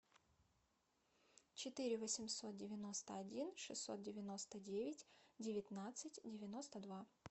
четыре восемьсот девяносто один шестьсот девяносто девять девятнадцать девяносто два